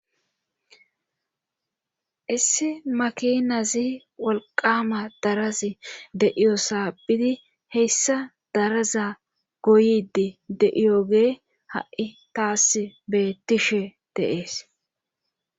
Issi makinazi walqama darazi deiyosaabidi heyssa daraza goydi de7iyogee ha7i taas beettishe deees.